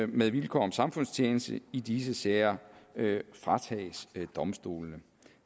med vilkår om samfundstjeneste i disse sager fratages domstolene